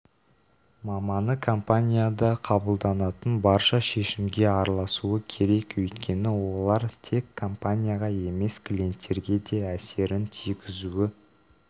маманы компанияда қабылданатын барша шешімге араласуы керек өйткені олар тек компанияға емес клиенттерге де әсерін тигізуі